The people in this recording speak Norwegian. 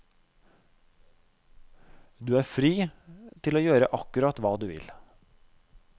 Du er fri til å gjøre akkurat hva du vil.